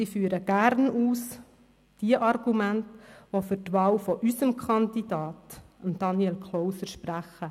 Ich führe gerne die Argumente aus, die für die Wahl unseres Kandidaten, Daniel Klauser, sprechen.